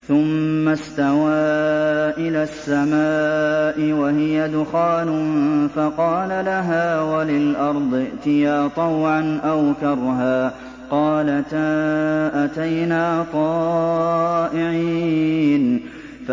ثُمَّ اسْتَوَىٰ إِلَى السَّمَاءِ وَهِيَ دُخَانٌ فَقَالَ لَهَا وَلِلْأَرْضِ ائْتِيَا طَوْعًا أَوْ كَرْهًا قَالَتَا أَتَيْنَا طَائِعِينَ